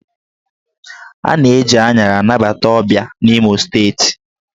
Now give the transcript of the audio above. A na-eji aṅara anabata ọbịa n'Imo Steeti